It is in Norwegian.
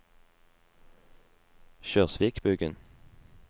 Kjørsvikbugen